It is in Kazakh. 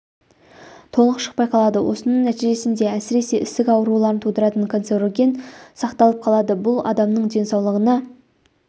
толық шықпай қалады осының нәтижесінде әсіресе ісік ауруларын тудыратын концероген сақталып қалады бұл адамның денсаулығына